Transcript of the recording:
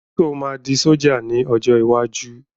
Sọ ma di ṣọ̀já ní ọjọ́ iwájú?